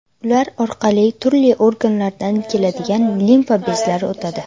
Ular orqali turli organlardan keladigan limfa bezlari o‘tadi.